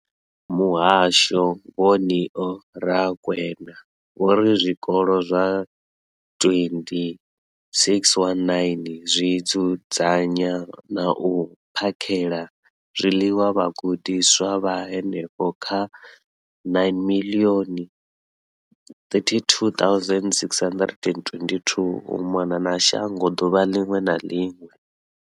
Muhasho, Vho Neo Rakwena, vho ri zwikolo zwa 20 619 zwi dzudzanya na u phakhela zwiḽiwa vhagudiswa vha henefha kha 9 032 622 u mona na shango ḓuvha ḽiṅwe na ḽiṅwe.